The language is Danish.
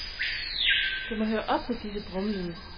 Det må høre op med disse brummelyde.